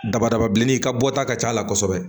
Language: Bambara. Dabadaba bilenni ka bɔ ta ka ca a la kosɛbɛ